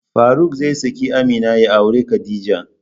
Faruk zai saki Amina ya auri Khadija.